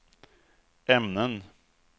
ämnen